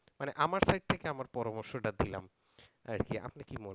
মানে আমার sight থেকে আমার পরামর্শটা দিলাম আর কি আপনি কি মনে করেন